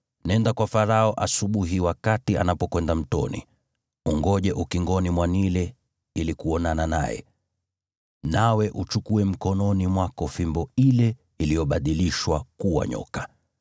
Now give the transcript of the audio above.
Nenda kwa Farao asubuhi wakati anapokwenda mtoni. Ngoja ukingoni mwa Naili ili uonane naye, na uchukue mkononi mwako fimbo ile iliyobadilishwa kuwa nyoka.